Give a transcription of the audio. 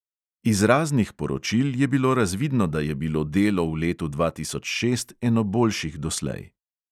Iz raznih poročil je bilo razvidno, da je bilo delo v letu dva tisoč šest eno boljših doslej.